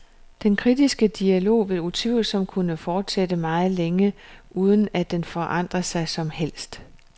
Den kritiske dialog vil utvivlsomt kunne fortsætte meget længe, uden at den forandrer noget som helst.